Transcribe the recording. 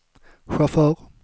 chaufför